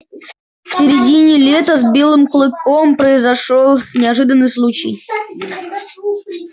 в середине лета с белым клыком произошёл неожиданный случай